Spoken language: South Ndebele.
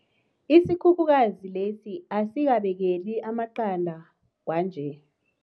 Isikhukhukazi lesi asisabekeli amaqanda kwanje.